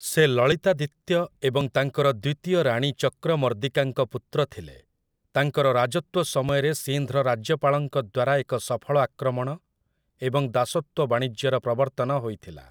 ସେ ଲଳିତାଦିତ୍ୟ ଏବଂ ତାଙ୍କର ଦ୍ୱିତୀୟ ରାଣୀ ଚକ୍ରମର୍ଦିକାଙ୍କ ପୁତ୍ର ଥିଲେ । ତାଙ୍କର ରାଜତ୍ୱ ସମୟରେ ସିନ୍ଧ୍‌ର ରାଜ୍ୟପାଳଙ୍କ ଦ୍ୱାରା ଏକ ସଫଳ ଆକ୍ରମଣ ଏବଂ ଦାସତ୍ୱ ବାଣିଜ୍ୟର ପ୍ରବର୍ତ୍ତନ ହୋଇଥିଲା ।